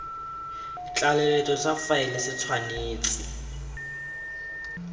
tlaleletso sa faele se tshwanetse